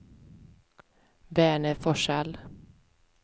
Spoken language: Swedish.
Verner Forsell